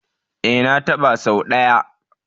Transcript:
E, na taɓa sau ɗaya.